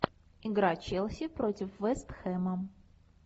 игра челси против вест хэма